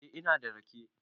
Eh, ina da rake.